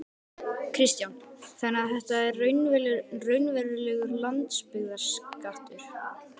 Kristján: Þannig að þetta er raunverulegur landsbyggðarskattur?